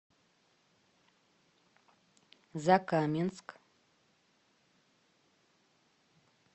закаменск